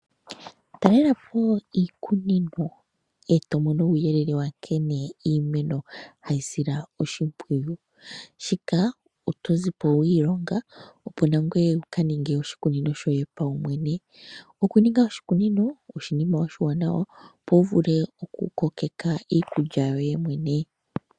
Talelapo iikunino eto mono uuyelele nkene iimeno ha yi silwa oshimpwiyu, shika oto zipo wi ilonga opo nangwee wuka ninge oshi kunino shoye sho paumwene, oku ninga oshi kunino oshinima oshiwaanawa, opo wuvule oku ko keka iikulya yoye mwene.